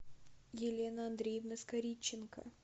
елена андреевна скоритченко